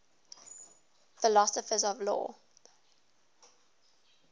philosophers of law